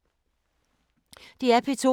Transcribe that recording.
DR P2